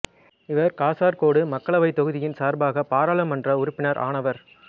இவர் காசர்கோடு மக்களவைத் தொகுதியின் சார்பாக பாராளுமன்ற உறுப்பினர் ஆனவர்